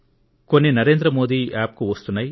కొన్ని సూచనలు NarendraModiApp కు వస్తున్నాయి